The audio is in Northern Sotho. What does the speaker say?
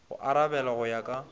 go arabela go ya ka